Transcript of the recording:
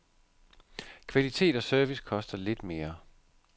Kvalitet og service koster lidt mere.